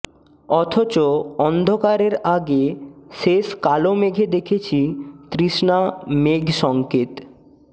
অথচ অন্ধকারের আগে শেষ কালো মেঘে দেখেছি তৃষ্ণা মেঘসংকেত